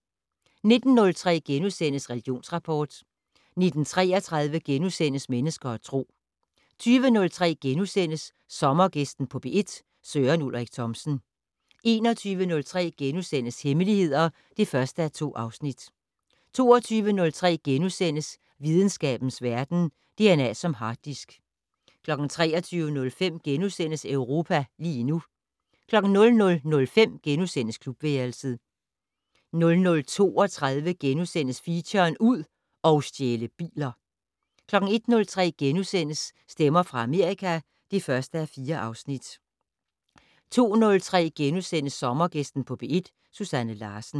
19:03: Religionsrapport * 19:33: Mennesker og Tro * 20:03: Sommergæsten på P1: Søren Ulrik Thomsen * 21:03: Hemmeligheder (1:2)* 22:03: Videnskabens Verden: DNA som harddisk * 23:05: Europa lige nu * 00:05: Klubværelset * 00:32: Feature: Ud og stjæle biler * 01:03: Stemmer fra Amerika (1:4)* 02:03: Sommergæsten på P1: Susanne Larsen *